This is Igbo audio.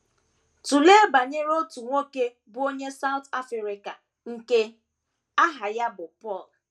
Tụlee banyere otu nwoke bụ́ onye South Africa nke aha ya bụ Paul.